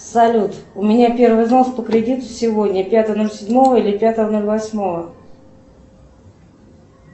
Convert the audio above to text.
салют у меня первый взнос по кредиту сегодня пятого ноль седьмого или пятого ноль восьмого